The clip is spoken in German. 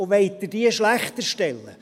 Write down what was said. Wollen Sie diese schlechter stellen?